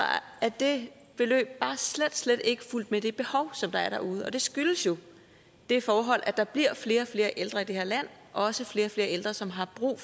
er det beløb bare slet slet ikke fulgt med det behov som der er derude det skyldes jo det forhold at der bliver flere og flere ældre i det her land også flere og flere ældre som har brug